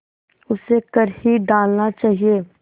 उसे कर ही डालना चाहिए